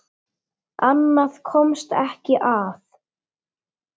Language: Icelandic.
Annað komst ekki að!